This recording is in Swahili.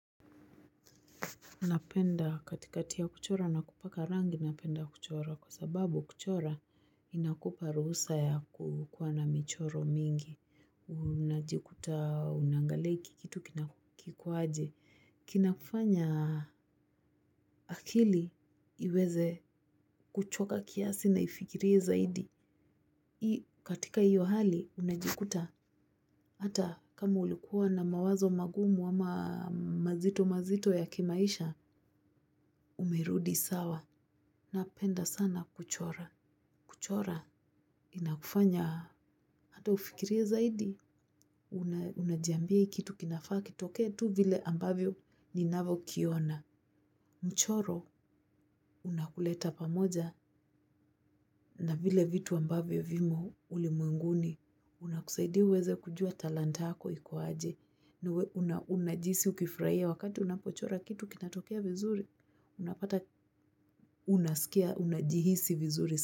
Unapenda katikati ya kuchora na kupaka rangi napenda kuchora kwa sababu kuchora inakupa ruhusa ya kukuwa na michoro mingi. Unajikuta unaangalia hiki kitu kiko aje. Kinakufanya akili iweze kuchoka kiasi na ifikirie zaidi. Katika hiyo hali unajikuta hata kama ulikuwa na mawazo magumu ama mazito mazito ya kimaisha umerudi sawa. Napenda sana kuchora. Kuchora inakufanya hata ufikirie zaidi. Unajiambia hii kitu kinafaa kitokee tu vile ambavyo ninavyokiona. Mchoro unakuleta pamoja na vile vitu ambavyo vimo ulimwenguni. Unakusaidia uweze kujua talanta yako iko aje. Unajihisi ukifurahia wakati unapochora kitu kinatokea vizuri. Unapata unasikia, unajihisi vizuri.